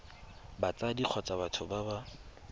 batsadi kgotsa batho ba ba